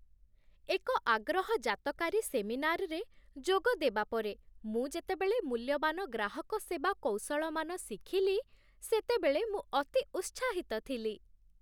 ଏକ ଆଗ୍ରହଜାତକାରୀ ସେମିନାର୍‌ରେ ଯୋଗଦେବା ପରେ, ମୁଁ ଯେତେବେଳେ ମୂଲ୍ୟବାନ ଗ୍ରାହକ ସେବା କୌଶଳମାନ ଶିଖିଲି, ସେତେବେଳେ ମୁଁ ଅତି ଉତ୍ସାହିତ ଥିଲି।